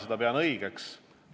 Mina pean seda õigeks.